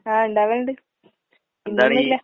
ആഹ് ഇണ്ടാവലിണ്ട്. ഇന്നൊന്നൂല്ല.